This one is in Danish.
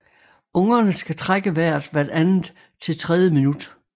Ungerne skal trække vejret hvert andet til tredje minut